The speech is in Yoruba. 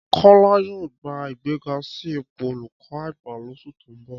Kọ́lá yóò gba ìgbéga sí ipò olùkọ́ àgbà lóṣù tó ń bọ̀